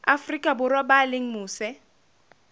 afrika borwa ba leng mose